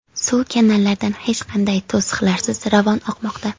Suv kanallardan hech qanday to‘siqlarsiz ravon oqmoqda.